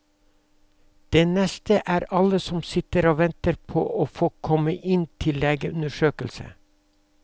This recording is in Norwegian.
Det neste er alle som sitter og venter på å få komme inn til legeundersøkelse.